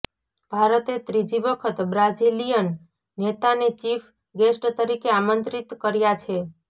ભારતે ત્રીજી વખત બ્રાઝિલિયન નેતાને ચીફ ગેસ્ટ તરીકે આમંત્રિત કર્યા છે